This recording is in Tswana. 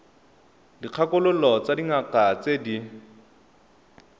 dikgakololo tsa dingaka tse di